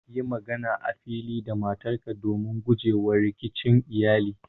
Yi magana a fili da matarka don guje wa rikicin iyali.